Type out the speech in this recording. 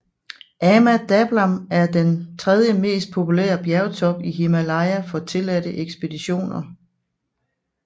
Ama Dablam er den tredje mest populære bjergtop i Himalaya for tilladte ekspeditioner